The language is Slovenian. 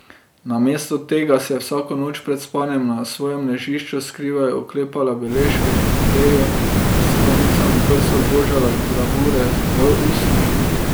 Namesto tega se je vsako noč pred spanjem na svojem ležišču skrivaj oklepala beležke pod odejo in s konicami prstov božala gravure v usnju.